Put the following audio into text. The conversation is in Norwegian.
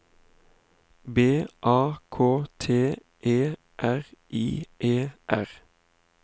B A K T E R I E R